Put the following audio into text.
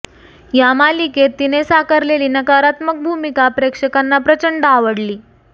या मालिकेत तिने साकारलेली नकारात्मक भूमिका प्रेक्षकांना प्रचंड आवडली